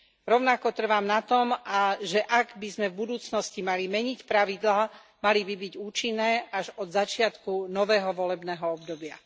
Rovnako trvám na tom, že ak by sme v budúcnosti mali meniť pravidlá, mali by byť účinné až od začiatku nového volebného obdobia.